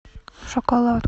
шоколад